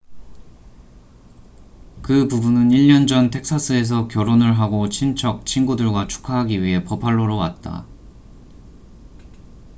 그 부부는 1년 전 텍사스에서 결혼을 하고 친척 친구들과 축하하기 위해 버팔로로 왔다